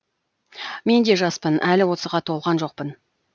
мен де жаспын әлі отызға толған жоқпын